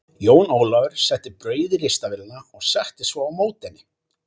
Jón Ólafur setti brauð í ristavélina og settist svo á móti henni.